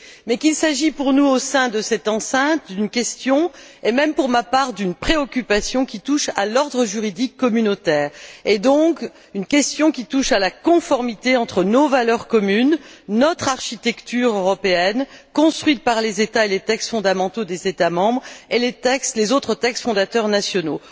Mais il s'agit pour nous, au sein de cette enceinte, d'une question et même, pour ma part, d'une préoccupation qui touche à l'ordre juridique communautaire, donc une question qui touche à la conformité entre nos valeurs communes, notre architecture européenne, construite par les États et les textes fondamentaux des États membres et les autres textes fondateurs nationaux.